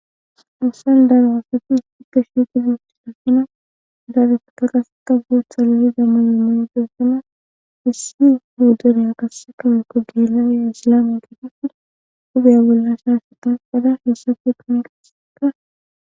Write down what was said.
issi darawasati stikka shiitidutitosina daarufu taqase ka soo salliza mayimontessina hissi guudonyan kasse kawe kogielaaye ssila me keta fuda dubaya bolla shaaseqan qada hessafe komiqaseka